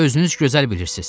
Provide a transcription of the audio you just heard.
Özünüz gözəl bilirsiz.